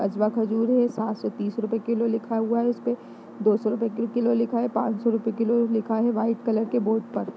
अजवा खजूर है सात सौ तीस रुपये किलो लिखा हुआ है इसपे दो सौ रूपए किलो लिखा है पांसौ रुपये किलो लिखा है वाईट कलर के बोर्ड पर।